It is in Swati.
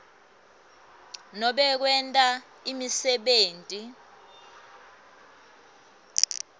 nobe kwenta imisebenti